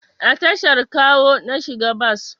A tashar Kawo na shiga bas